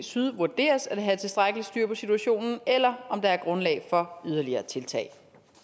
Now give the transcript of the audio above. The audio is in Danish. syd vurderes at have tilstrækkeligt styr på situationen eller om der er grundlag for yderligere tiltag